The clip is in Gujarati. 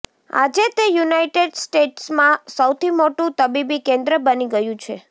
આજે તે યુનાઇટેડ સ્ટેટ્સમાં સૌથી મોટું તબીબી કેન્દ્ર બની ગયું છે